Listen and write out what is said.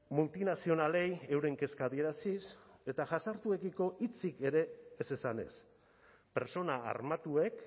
multinazionalei euren kezka adieraziz eta jazartuekiko hitzik ere ez esanez pertsona armatuek